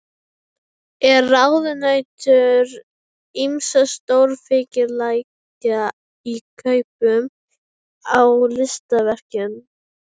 Er ráðunautur ýmissa stórfyrirtækja í kaupum á listaverkum.